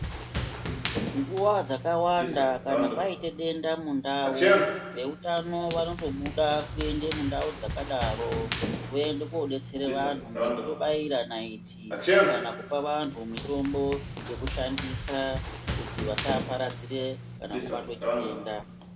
Nguwa dzakawanda kana kwaita denda mundau veutano vatombobuda kuenda mundau dzakadaro voenda kudetsera vantu ngekubaira naiti kana kupa vantu mitombo yekushandisa kuti vasaparadzire kana kubatwa chitenda.